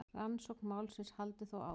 Rannsókn málsins haldi þó áfram.